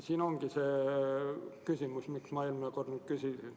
See ongi see küsimus, mida ma eelmine kord küsisin.